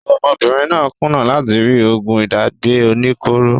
Ọmọbìnrin náà kùnà láti rí oògùn ìdágbẹ́ oníkóro